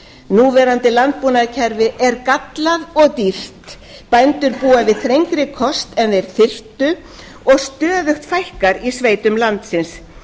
núverandi landbúnaðarkerfi er gallað og dýrt bændur búa við þrengri kost en þeir þyrftu og stöðugt fækkar í sveitum landsins